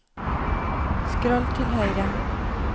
skroll til høyre